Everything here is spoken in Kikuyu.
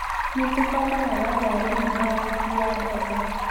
Nĩ tũbataraga ngari nene ya gũkuua mbembe